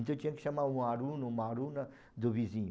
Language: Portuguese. Então tinha que chamar um aluno, uma aluna do vizinho.